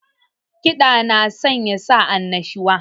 Kiɗa na sanya sa annashuwa